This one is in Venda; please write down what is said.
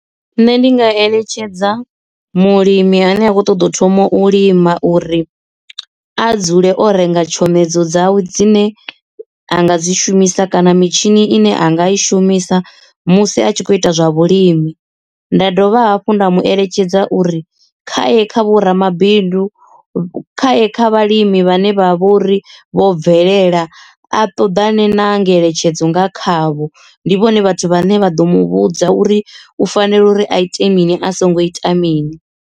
Nṋe ndi nga eletshedza mulimi ane a kho ṱoḓa u thoma u lima uri a dzule o renga tshomedzo dzawe dzine a nga dzi shumisa kana mitshini ine a nga i shumisa musi a tshi kho ita zwa vhulimi nda dovha hafhu nda mu eletshedza uri khaye kha vho ramabidu khaye kha vhalimi vhane vha vhori vho bvelela a ṱoḓane na ngeletshedzo nga khavho ndi vhone vhathu vhane vha ḓo mu vhudza uri u fanela uri a ite mini a songo ita mini.